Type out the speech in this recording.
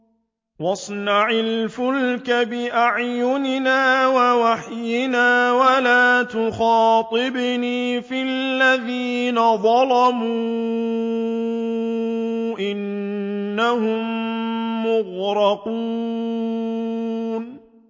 وَاصْنَعِ الْفُلْكَ بِأَعْيُنِنَا وَوَحْيِنَا وَلَا تُخَاطِبْنِي فِي الَّذِينَ ظَلَمُوا ۚ إِنَّهُم مُّغْرَقُونَ